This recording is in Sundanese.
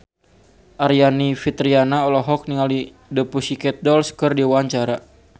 Aryani Fitriana olohok ningali The Pussycat Dolls keur diwawancara